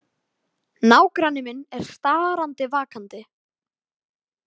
Nágranni minn er starandi vakandi.